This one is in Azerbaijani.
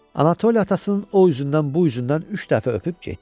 Anatoli atasının o üzündən bu üzündən üç dəfə öpüb getdi.